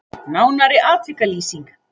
Nánari atvikalýsing